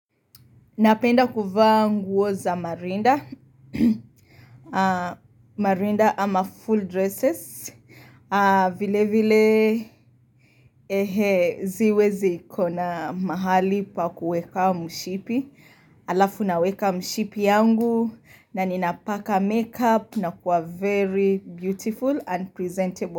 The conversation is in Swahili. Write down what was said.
Napenda kuvaa nguo za marinda, marinda ama full dresses, vile vile ehe siwezi ikona mahali pa kuweka mshipi, halafu naweka mshipi yangu na ninapaka makeup na kuwa very beautiful and presentable.